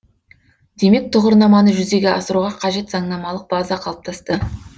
демек тұғырнаманы жүзеге асыруға қажет заңнамалық база қалыптасты